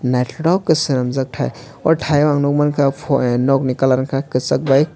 nythoktoke ke swnamjak tai aw thai o ang nugmanka foie nog ni kalar unka kwchak by.